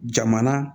Jamana